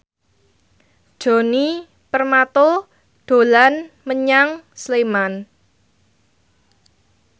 Djoni Permato dolan menyang Sleman